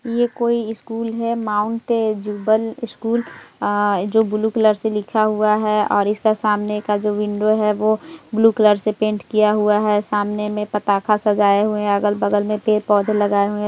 ये कोई स्कूल है माउंट जूबल स्कूल जो ब्लू कलर से लिखा हुआ है और इसके सामने मे जो विंडो है ब्लू कलर से पैंट किया हुआ है सामने पटाका सजाया हुआ हैअगल-बगल में पेड़-पौधे लगाए हुए है।